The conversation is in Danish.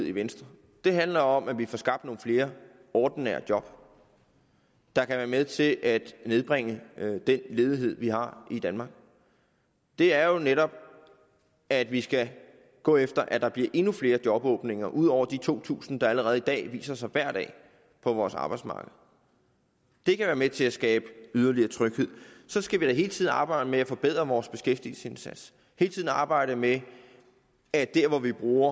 i venstre det handler om at vi får skabt nogle flere ordinære job der kan være med til at nedbringe den ledighed vi har i danmark og det er jo netop at vi skal gå efter at der bliver endnu flere jobåbninger ud over de to tusind der allerede i dag viser sig hver dag på vores arbejdsmarked det kan være med til at skabe yderligere tryghed så skal vi da hele tiden arbejde med at forbedre vores beskæftigelsesindsats hele tiden arbejde med at når vi bruger